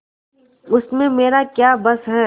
उसमें मेरा क्या बस है